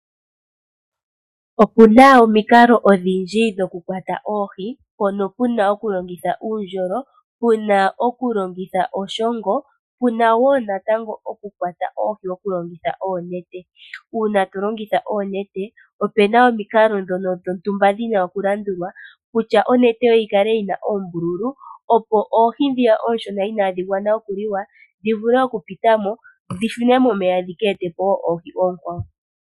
Okuna omikalo odhindji dhoku kwata oohi mpono pena oku longitha uundjolo, puna oku longitha oshongo, puna okukwata oihi okulongitha onet. Uuna to longitha oonete opena omikalo dhono shontumba dhina oku landulwa kutya onete yoye yikale yina oombululu opo oohi ndhiya oonshona inadhi gwana okuliwa dhivule oku pitamo dhishune momeya dhika etepo woo oohi oonkwawo.